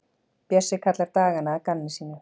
Bjössi kallar dagana að gamni sínu.